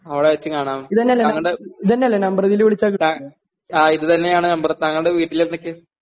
അവടെ വെച്ച് കാണാം താങ്കൾടെ താ ആ ഇതുതന്നെയാണ് നമ്പറ് താങ്കളുടെ വീട്ടിലെന്തൊക്കെയാ?